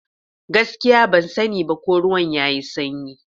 Gaskiya! Ban sani ba ko ruwan yayi sanyi.